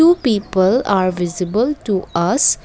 two people are visible to us.